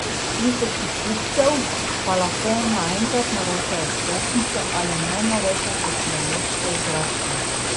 Tisoči kupcev pa lahko naenkrat naročajo vstopnice ali najnovejše tehnološke igračke.